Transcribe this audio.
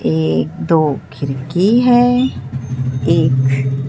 एक दो खिरकी है एक--